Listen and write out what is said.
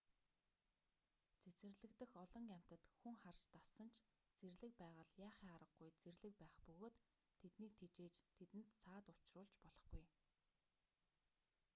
цэцэрлэг дэх олон амьтад хүн харж дассан ч зэрлэг байгаль яахын аргагүй зэрлэг байх бөгөөд тэднийг тэжээж тэдэнд саад учруулж болохгүй